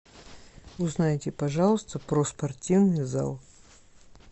узнайте пожалуйста про спортивный зал